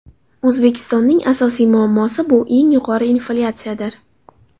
O‘zbekistonning asosiy muammosi bu yuqori inflyatsiyadir.